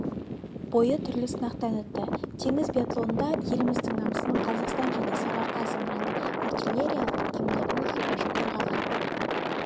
бойы түрлі сынақтан өтті теңіз биатлонында еліміздің намысын қазақстан және сарыарқа зымыранды-артиллериялық кемелерінің экипажы қорғаған